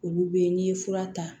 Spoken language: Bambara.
Olu be yen n'i ye fura ta